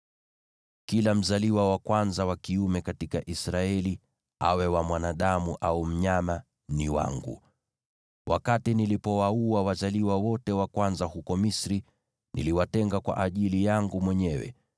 Kila mzaliwa wa kwanza wa kiume katika Israeli, awe wa mwanadamu au mnyama, ni wangu. Wakati nilipowaua wazaliwa wote wa kwanza huko Misri, niliwatenga kwa ajili yangu mwenyewe.